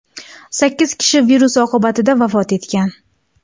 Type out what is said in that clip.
Sakkiz kishi virus oqibatida vafot etgan.